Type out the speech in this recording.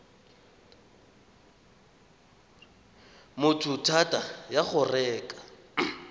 motho thata ya go reka